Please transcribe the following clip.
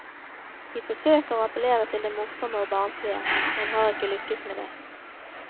De forsøker å appellere til det morsomme og barnslige, men har ikke lykkes med det.